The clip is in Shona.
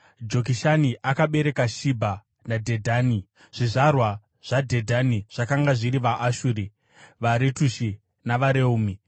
Jokishani akabereka Shebha naDhedhani; zvizvarwa zvaDhedhani zvakanga zviri vaAshuri, vaRetushi navaReumi.